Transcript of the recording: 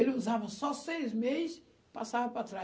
Ele usava só seis meses, passava para trás.